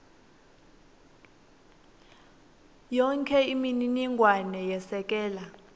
yonkhe imininingwane yesekela